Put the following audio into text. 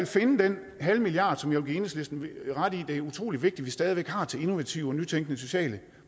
finde den halve milliard som jeg vil give enhedslisten ret i at det er utrolig vigtigt at vi har til innovative og nytænkende sociale